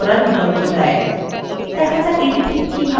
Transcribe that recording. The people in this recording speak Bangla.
দেখা যাক এটি ঠিক কিভাবে করা যায়